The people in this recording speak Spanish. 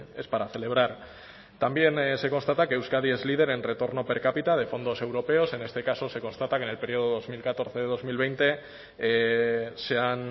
es para celebrar también se constata que euskadi es líder en retorno per cápita de fondos europeos en este caso se constata que en el periodo dos mil catorce dos mil veinte se han